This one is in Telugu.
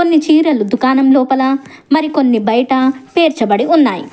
ని చీరలు దుకాణం లోపల మరికొన్ని బయట పేర్చబడి ఉన్నాయి.